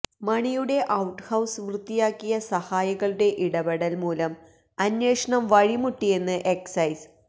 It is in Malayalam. മണിയുടെ ഒൌട്ഹൌസ് വൃത്തിയാക്കിയ സഹായികളുടെ ഇടപെടൽ മൂലം അന്വേഷണം വഴിമുട്ടിയെന്ന് എക്സൈസ്